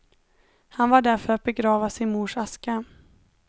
Han var där för att begrava sin mors aska.